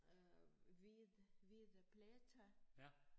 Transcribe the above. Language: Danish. Øh hvid hvide pletter